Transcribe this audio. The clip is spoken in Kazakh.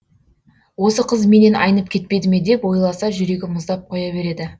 осы қыз менен айнып кетпеді ме деп ойласа жүрегі мұздап қоя береді